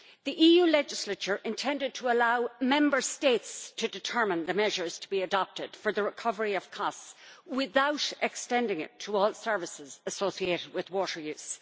The EU legislature intended to allow Member States to determine the measures to be adopted for the recovery of costs, without extending it to all services associated with water use.